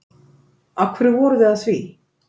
Af hverju voruð þið að því?